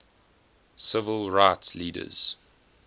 civil rights leaders